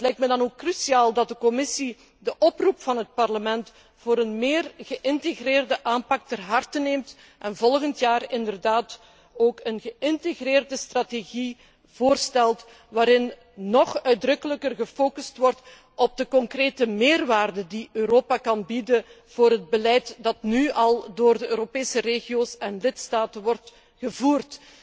Het lijkt me dan ook cruciaal dat de Commissie de oproep van het Parlement voor een meer geïntegreerde aanpak ter harte neemt en volgend jaar een geïntegreerde strategie voorstelt, waarin nog uitdrukkelijker gefocust wordt op de concrete meerwaarde die Europa kan bieden voor het beleid dat nu al door de Europese regio's en lidstaten wordt gevoerd.